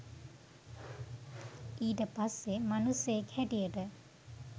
ඊට පස්සේ මනුස්සයෙක් හැටියට